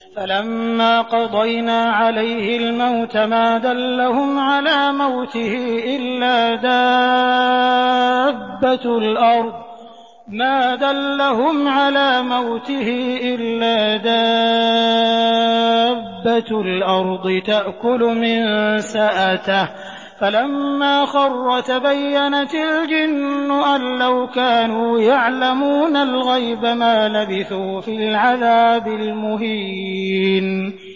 فَلَمَّا قَضَيْنَا عَلَيْهِ الْمَوْتَ مَا دَلَّهُمْ عَلَىٰ مَوْتِهِ إِلَّا دَابَّةُ الْأَرْضِ تَأْكُلُ مِنسَأَتَهُ ۖ فَلَمَّا خَرَّ تَبَيَّنَتِ الْجِنُّ أَن لَّوْ كَانُوا يَعْلَمُونَ الْغَيْبَ مَا لَبِثُوا فِي الْعَذَابِ الْمُهِينِ